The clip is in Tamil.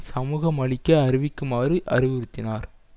சமூகமளிக்க அறிவிக்குமாறு அறிவுறுத்தினார்